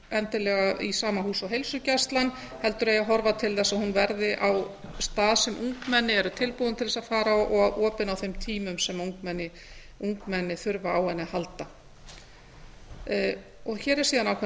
sama húsi og heilsugæslan heldur eigi að horfa til þess að hún verði á stað sem ungmenni eru tilbúin til þess að fara á og opin á þeim tímum sem ungmenni þurfa á henni að halda hér er síðan ákveðinn